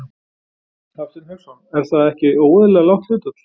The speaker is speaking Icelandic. Hafsteinn Hauksson: Er það ekki óeðlilega lágt hlutfall?